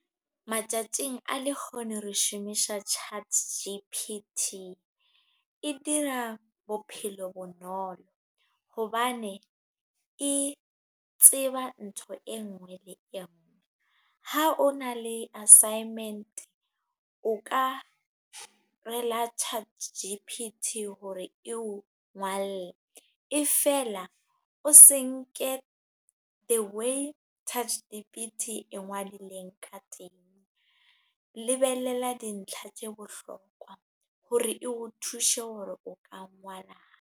Matsatsing a lekgone re shomisha. Chat G_P_T e dira bophelo bonolo. Hobane e tseba ntho e nngwe le e nngwe. Ha o na le assignment, o ka rela Chat G_P_T hore eo ngwalle. E fela o senke the way Chat G_T_P e ngwadilweng ka teng. Lebelela dintlha tse bohlokwa, hore o thuse hore o ka ngwala eng.